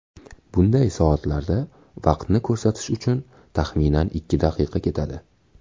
Bunday soatlarda vaqtni ko‘rsatish uchun taxminan ikki daqiqa ketadi.